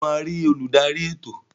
Ṣe o ma ri oludari ètò?